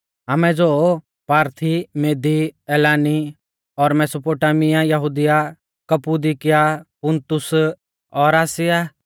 आमै ज़ो पारथी मेदी एलानी और मेसोपोटामिया यहुदिया कप्पदूकिया पुनतुस और आसिया